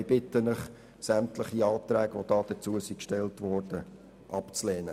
Ich bitte Sie, sämtliche Anträge, die dazu gestellt wurden, abzulehnen.